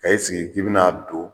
Ka e sigi k'i bi n'a don